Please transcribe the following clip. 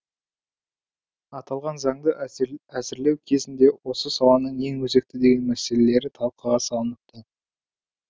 аталған заңды әзірлеу кезінде осы саланың ең өзекті деген мәселелері талқыға салыныпты